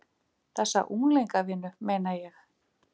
Þessa unglingavinnu, meina ég.